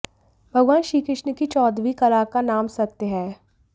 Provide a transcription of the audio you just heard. भगवान श्री कृष्ण की चौदहवीं कला का नाम सत्य है